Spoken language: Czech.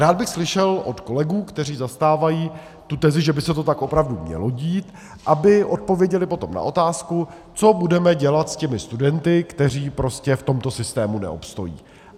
Rád bych slyšel od kolegů, kteří zastávají tu tezi, že by se to tak opravdu mělo dít, aby odpověděli potom na otázku, co budeme dělat s těmi studenty, kteří prostě v tomto systému neobstojí.